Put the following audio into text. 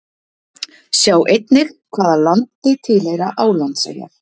Sjá einnig: Hvaða landi tilheyra Álandseyjar?